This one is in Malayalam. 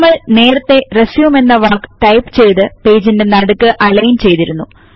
നമ്മൾ നേരത്തെ റിസ്യൂം എന്ന വാക്ക് ടൈപ്പ് ചെയ്തു പേജിന്റെ നടുക്ക് അലയിൻ ചെയ്തിരുന്നു